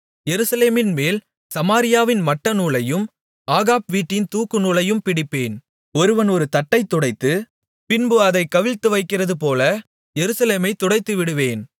எருசலேமின்மேல் சமாரியாவின் மட்டநூலையும் ஆகாப் வீட்டின் தூக்கு நூலையும் பிடிப்பேன் ஒருவன் ஒரு தட்டைத் துடைத்து பின்பு அதைக் கவிழ்த்துவைக்கிறதுபோல எருசலேமைத் துடைத்துவிடுவேன்